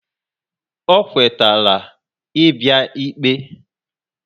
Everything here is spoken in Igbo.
O kwe tela I bia ikpe